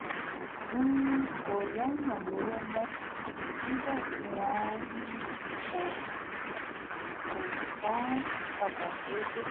um kò yáyàn lówó mọ́ nígbà tí wọn um kò um kò san án padà déédé